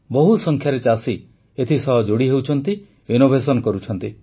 ବହୁ ସଂଖ୍ୟାରେ ଚାଷୀ ଏଥିସହ ଯୋଡ଼ି ହେଉଛନ୍ତି ଇନୋଭେସନ କରୁଛନ୍ତି